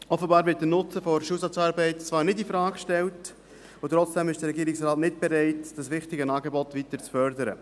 Offenbar wird der Nutzen der Schulsozialarbeit zwar nicht infrage gestellt, und trotzdem ist der Regierungsrat nicht bereit, dieses wichtige Angebot weiter zu fördern.